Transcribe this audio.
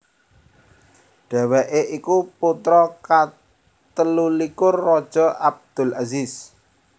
Dhèwèké iku putra katelulikur Raja Abdulaziz